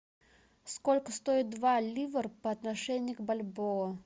сколько стоит два ливр по отношению к бальбоа